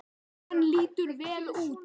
Hann lítur vel út